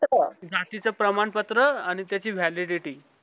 जातीचे प्रमाणपत्र आणि त्याची validity